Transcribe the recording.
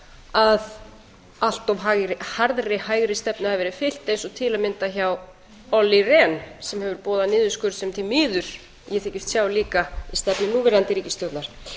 að allt of harðri hægri stefnu hafi verið fylgt eins og til að mynda hjá olli rehn sem hefur boðað niðurskurð sem því miður ég þykist sjá líka í stefnu núverandi ríkisstjórnar